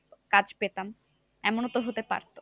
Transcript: কাজ পেতাম, এমনও তো হতে পারতো।